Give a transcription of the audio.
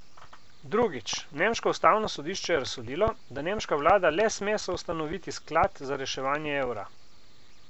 Drugič, nemško ustavno sodišče je razsodilo, da nemška vlada le sme soustanoviti sklad za reševanje evra.